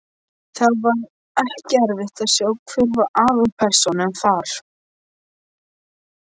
Það var ekki erfitt að sjá hver var aðalpersónan þar.